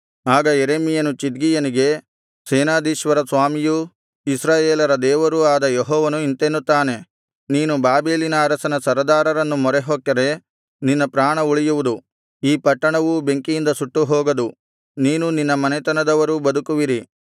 ಆಗ ಯೆರೆಮೀಯನು ಚಿದ್ಕೀಯನಿಗೆ ಸೇನಾಧೀಶ್ವರ ಸ್ವಾಮಿಯೂ ಇಸ್ರಾಯೇಲರ ದೇವರೂ ಆದ ಯೆಹೋವನು ಇಂತೆನ್ನುತ್ತಾನೆ ನೀನು ಬಾಬೆಲಿನ ಅರಸನ ಸರದಾರರನ್ನು ಮೊರೆಹೊಕ್ಕರೆ ನಿನ್ನ ಪ್ರಾಣ ಉಳಿಯುವುದು ಈ ಪಟ್ಟಣವೂ ಬೆಂಕಿಯಿಂದ ಸುಟ್ಟು ಹೋಗದು ನೀನೂ ನಿನ್ನ ಮನೆತನದವರೂ ಬದುಕುವಿರಿ